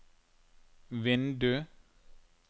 vindu